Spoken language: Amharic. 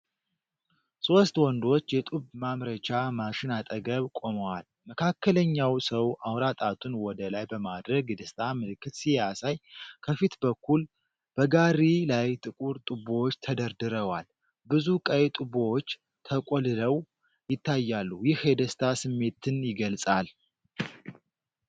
ሶስት ወንዶች የጡብ ማምረቻ ማሽን አጠገብ ቆመዋል። መካከለኛው ሰው አውራ ጣቱን ወደ ላይ በማድረግ የደስታ ምልክት ሲያሳይ፣ ከፊት በኩል በጋሪ ላይ ጥቁር ጡቦች ተደርድረዋል። ብዙ ቀይ ጡቦች ተቆልለው ይታያሉ። ይህ የደስታ ስሜትን ይገልጻል።